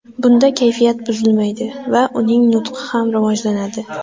Bunda kayfiyat buzilmaydi va uning nutqi ham rivojlanadi.